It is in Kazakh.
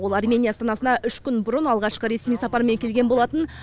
ол армения астанасына үш күн бұрын алғашқы ресми сапармен келген болатын